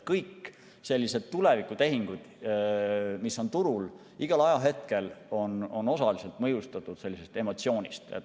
Kõik sellised tulevikutehingud, mis on turul, on igal ajahetkel osaliselt mõjutatud emotsioonist.